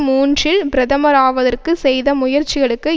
மூன்றில் பிரதமர் ஆவதற்கு செய்த முயற்சிகளுக்கு